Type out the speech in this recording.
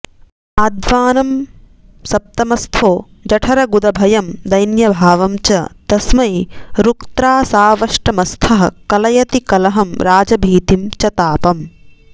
आध्वानं सप्तमस्थो जठरगुदभयं दैन्यभावं च तस्मै रुक्त्रासावष्टमस्थः कलयति कलहं राजभीतिं च तापम्